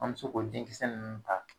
An bɛ se ko denkisɛ nunnu ta.